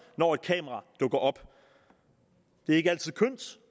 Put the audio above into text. når et kamera dukker op det er ikke altid kønt